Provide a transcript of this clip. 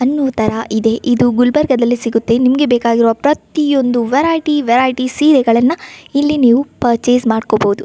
ಅನ್ನುವ ತರ ಇದೆ ಇದು ಗುಲ್ಬರ್ಗಾದಲ್ಲಿ ಸಿಗುತ್ತೆ ನಿಮ್ಮಗೆ ಬೇಕಾಗಿರೋ ಪ್ರತಿಯೊಂದು ವೆರೈಟಿ ವೆರೈಟಿ ಸೀರೆಗಳನ್ನಾ ಇಲ್ಲಿ ನೀವು ಪರ್ಚೆಸ್ ಮಾಡ್ಕೋಬಹುದು.